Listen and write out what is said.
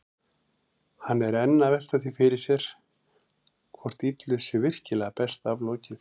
Hann er enn að velta því fyrir sér hvort illu sé virkilega best aflokið.